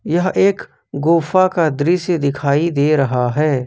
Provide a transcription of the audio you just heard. यह एक गुफा का दृश्य दिखाई दे रहा है।